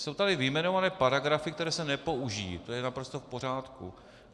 Jsou tady vyjmenované paragrafy, které se nepoužijí, to je naprosto v pořádku.